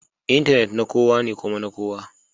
Intanet na kowa ne kuma na kowa